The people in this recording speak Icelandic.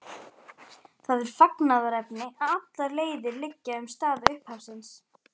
Það er fagnaðarefni að allar leiðir liggja um stað upphafsins.